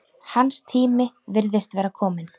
Hans tími virðist vera kominn.